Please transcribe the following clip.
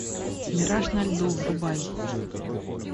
мираж на льду врубай